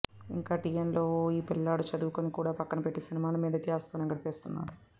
ఇంకా టీనేజ్లో ఉన్న ఈ పిల్లాడు చదువుని కూడా పక్కన పెట్టి సినిమాల మీద ధ్యాసతోనే గడిపేస్తున్నాడు